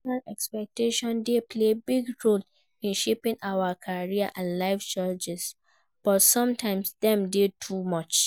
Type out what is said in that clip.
Parental expectations dey play big role in shaping our career and life choices, but sometimes dem dey too much.